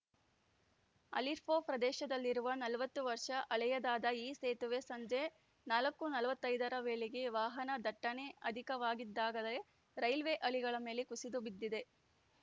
ಅಲಿಪೋರ್‌ ಪ್ರದೇಶದಲ್ಲಿರುವ ನಲವತ್ತು ವರ್ಷ ಹಳೆಯದಾದ ಈ ಸೇತುವೆ ಸಂಜೆ ನಾಲ್ಕು ನಲವತ್ತೈದ ರ ವೇಳೆಗೆ ವಾಹನ ದಟ್ಟಣೆ ಅಧಿಕವಾಗಿದ್ದಾಗಲೇ ರೈಲ್ವೆ ಹಳಿಗಳ ಮೇಲೆ ಕುಸಿದು ಬಿದ್ದಿದೆ